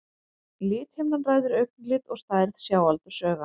Lithimnan ræður augnlit og stærð sjáaldurs augans.